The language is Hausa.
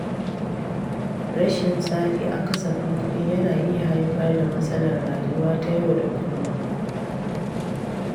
Rashin tsari a kasafin kuɗi yana iya haifar da matsalar rayuwa ta yau da kullum.